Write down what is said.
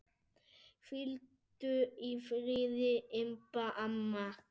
Hvíldu í friði, Imba amma.